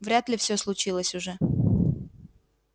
вряд ли всё случилось уже